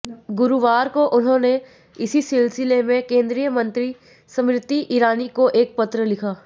गुरुवार को उन्होंने इसी सिलसिले में केंद्रीय मंत्री स्मृति ईरानी को एक पत्र लिखा